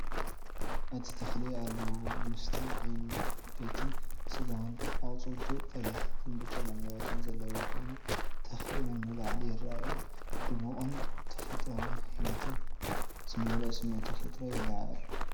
እቲ ተኽሊ ኣሎው፡ ምስቲ ዓበይትን ስጋዊን ኣቝጽልቱ፡ ቀያሕትን ብጫን ዕምባባታት ዘለዎ ኮይኑ፡ ትኽ ኢሎም ንላዕሊ ይረኣዩ። ድሙቕን ህያውን ህይወት ዝመልኦን ስምዒት ተፈጥሮ የለዓዕል።